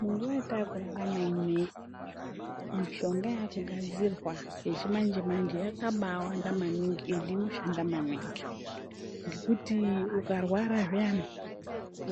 Munguwa yatakurarama ineyi mishonga yakugadzirwa yakabawanda maningi ende inobashanda maningi ngekuti ukarwara zviyana